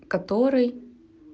который